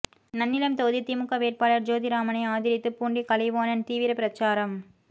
நன்னிலம் தொகுதி திமுக வேட்பாளர் ஜோதிராமனை ஆதரித்து பூண்டி கலைவாணன் தீவிர பிரசாரம்